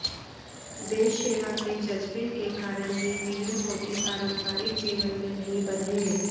देश सेवा के जज्बे के कारण ही पीएम मोदी पारम्परिक जीवन में नहीं बंधे